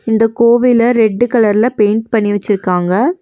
இந்த கோவில ரெட்டு கலர்ல பெயிண்ட் பண்ணி வெச்சிருக்காங்க.